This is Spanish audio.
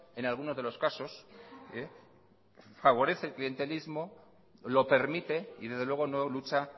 en algunos de los casos favorece el clientelismo lo permite y desde luego no lucha